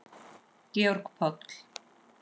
Georg Páll.